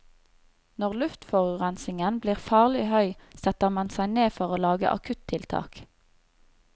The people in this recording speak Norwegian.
Når luftforurensningen blir farlig høy, setter man seg ned for å lage akuttiltak.